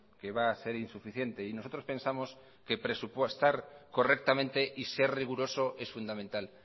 que va a ser insuficiente y nosotros pensamos que presupuestar correctamente y ser riguroso es fundamental